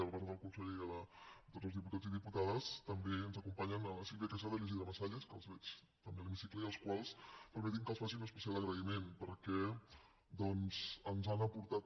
a part del conseller i de tots els diputats i diputades també ens acompanyen la sílvia quesada i l’isidre masalles que els veig també a l’hemicicle i als quals permetin me que els faci un especial agraïment perquè ens han aportat